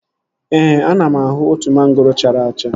Ee, ana m ahụ otu mangoro chara acha